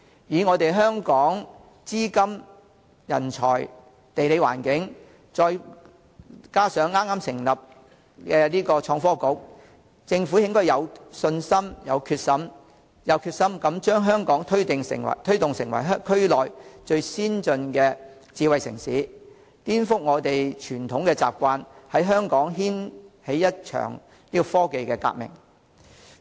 以香港的資金、人才、地理環境，再加上已成立的創新及科技局，政府應該有信心、有決心推動香港成為區內最先進的智慧城市，顛覆傳統習慣，在香港掀起一場科技革命。